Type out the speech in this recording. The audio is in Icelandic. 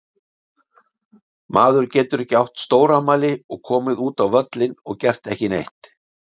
Maður getur ekki átt stórafmæli og komið út á völlinn og gert ekki neitt.